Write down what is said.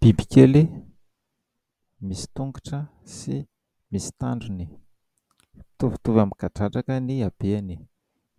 Bibikely misy tongotra sy misy tandrony, mitovitovy amin'ny kadradraka ny abeany,